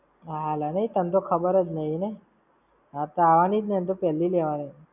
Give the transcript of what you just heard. હા અલ નઈ, તન તો ખબર જ નહિ ને. હા તો આવાની જ ને, એનેતો પેલ્લી લેવાની!